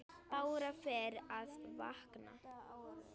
Bára fer að vakna.